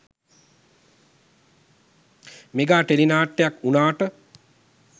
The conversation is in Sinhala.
මෙගා ටෙලි නාට්‍යයක් වුණාට